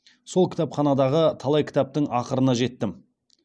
сол кітапханадағы талай кітаптың ақырына жеттім